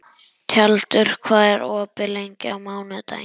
Tjaldur, hvað er opið lengi á mánudaginn?